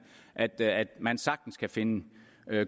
at at man sagtens kan finde